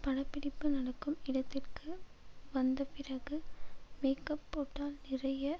படப்பிடிப்பு நடக்கும் இடத்திற்கு வந்தபிறகு மேக்கப் போட்டால் நிறைய